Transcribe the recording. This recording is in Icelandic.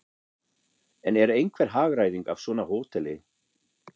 En er einhver hagræðing af svona hóteli?